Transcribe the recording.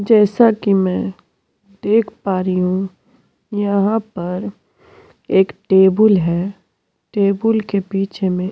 जैसा कि मैं देख पा रही हूं यहां पर एक टेबल है टेबुल के पीछे में --